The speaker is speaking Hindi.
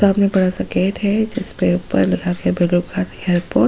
किताब में पढ़ा सके थे जिसपे ऊपर यह रिपोर्ट --